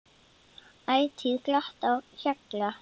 Ætíð glatt á hjalla.